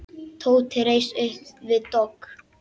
Tóti reis upp við dogg.